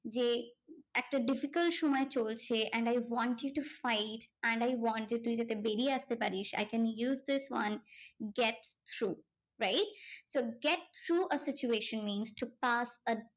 যে একটা difficult সময় চলছে and I want you to fight and I want যে তুই যাতে বেরিয়ে আসতে পারিস। I can use this one get through. wright? so get through a situation means to pass